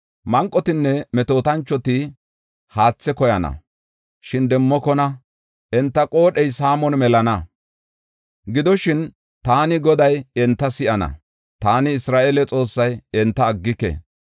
“Manqotinne metootanchoti haathe koyana, shin demmokona; enta qoodhey saamon melana. Gidoshin, taani Goday enta si7ana; taani, Isra7eele Xoossay, enta aggike.